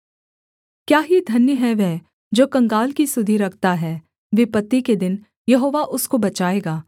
क्या ही धन्य है वह जो कंगाल की सुधि रखता है विपत्ति के दिन यहोवा उसको बचाएगा